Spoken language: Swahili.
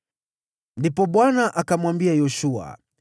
Ndipo Bwana akamwambia Yoshua,